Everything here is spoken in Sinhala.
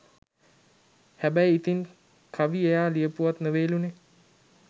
හැබැයි ඉතින් කවි එයා ලියපුවත් නෙවෙයිලුනේ.